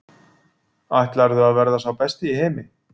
Ætlarðu að verða sá besti í heimi?